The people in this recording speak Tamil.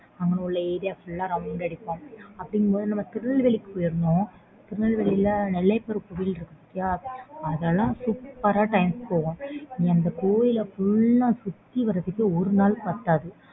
அங்கே உள்ள area full ஆஹ் round அடிப்போம் அப்படினும் போது நம்ப திருநெல்வேலி போய் இருந்தோம் திருநெல்வேலில நெல்லை அப்பர் கோவில் இருக்கு பதிய அதுல super time போகும் நீ கோவில் full ah ஆஹ் சுத்திவரவே ஒரு நாள் பத்தாது